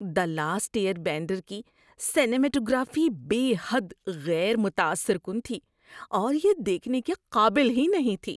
دی last airbender کی cinematography بے حد غیر متاثر کن تھی اور یہ دیکھنے کے قابل ہی نہیں تھی۔